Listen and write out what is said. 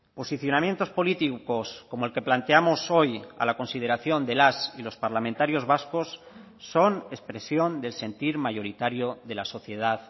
posicionamientos políticos como el que planteamos hoy a la consideración de las y los parlamentarios vascos son expresión del sentir mayoritario de la sociedad